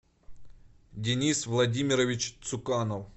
денис владимирович цуканов